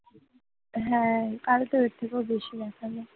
হ্যাঁ, কালকে থেকেও বেশি দেখালো।